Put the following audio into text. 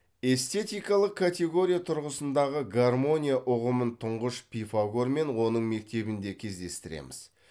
эстетикалық категория тұрғысындағы гармония ұғымын тұңғыш пифагор мен оның мектебінде кездестіреміз